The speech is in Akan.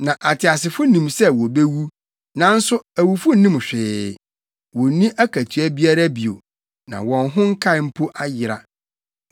Na ateasefo nim sɛ wobewu, nanso awufo nnim hwee; wonni akatua biara bio, na wɔn ho nkae mpo ayera.